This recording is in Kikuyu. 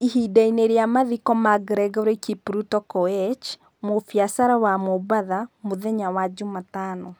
Ihinda-inĩ rĩa mathiko ma Gregory Kipruto Koech, mũbiacara wa Mombatha, mũthenya wa jumatano,